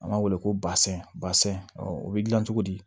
An b'a wele ko basɛn ɔ o bɛ dilan cogo di